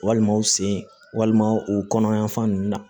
Walima u sen walima o kɔnɔ yan fan ninnu na